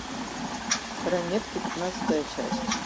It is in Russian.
ранетки пятнадцатая часть